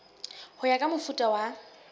ho ya ka mofuta wa